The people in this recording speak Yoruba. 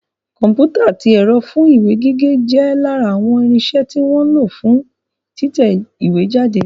Kọ̀mpútà àti ẹ̀rọ fún ìwé gígé jẹ́ lára àwọn irinsẹ́ tí wọ́n ń lo fún títẹ ìwé jáde